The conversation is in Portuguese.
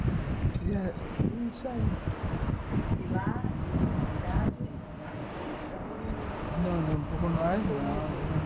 e lá nessa cidade, a revolução não não, não, por nós não!